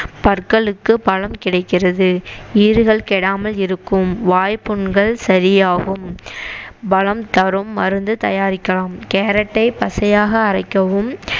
பற்களுக்கு பலம் கிடைக்கிறது ஈறுகள் கெடாமல் இருக்கும் வாய்ப்புண்கள் சரியாகும் பலம் தரும் மருந்து தயாரிக்கலாம் கேரட்டை பச்சையாக அரைக்கவும்